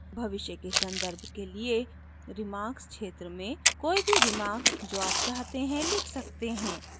भविष्य के सन्दर्भ के लिए remarks क्षेत्र में कोई भी रिमार्क जो आप चाहते हैं लिख सकते हैं